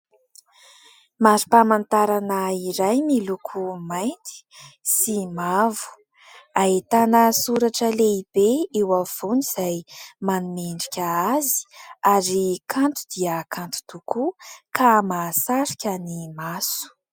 Mari-pamantarana iray miloko mainty sy mavo, ahitana soratra lehibe eo afovoany izay manome endrika azy ary kanto dia kanto tokoa ka mahasarika ny maso.